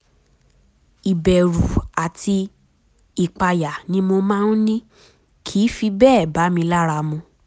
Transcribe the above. ìbẹ̀rù àti ìpayà tí mo máa ń ní kìí fi bẹ́ẹ̀ bá mi lára mu